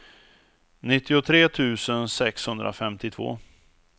nittiotre tusen sexhundrafemtiotvå